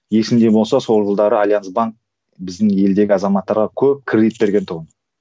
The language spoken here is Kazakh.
есіңде болса сол жылдары альянс банк біздің елдегі азаматтарға көп кредит берген тұғын